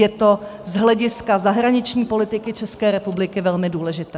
Je to z hlediska zahraniční politiky České republiky velmi důležité.